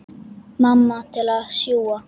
Mamma til að sjúga.